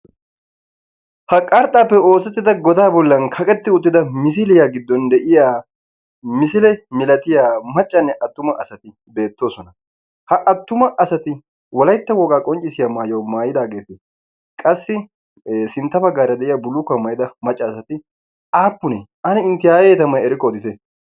Ha qarxxaappe oosettida godaa bollan kaqetti uttida misiliya giddon de'iya misile milatiya maccanne attuma asati beettoosona. Ha attuma asati wolaytta wogaa qonccissiya maayuwa maayidaageeti qassi sintta baggaara de'iya bullukkuwa maayida macca asati aappunee? Ane intte aaye tammay erikko odite.